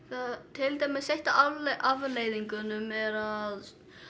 til dæmis ein af afleiðingunum er að